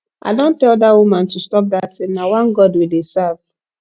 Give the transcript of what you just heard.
i don tell dat woman to stop dat thing na one god we dey serve